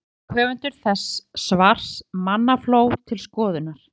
Fyrir skömmu fékk höfundur þessa svars mannafló til skoðunar.